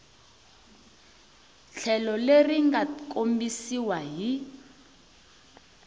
tlhelo leri nga kombisiwa hi